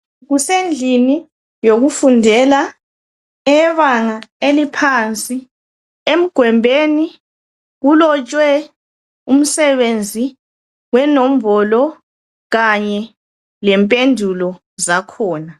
Kusendlini yokufundela eyebanga eliphansi, emgwembeni kulotshwe umsebenzi wenombolo kanye lempendulo zakhona.